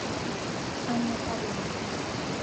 анна павлова